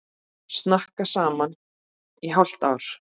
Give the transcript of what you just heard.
Snakka saman í hálft ár.